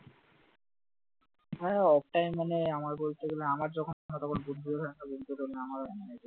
হ্যাঁ off time মানে আমার বলতে গেলে আমার যখন ঘুরা না হয়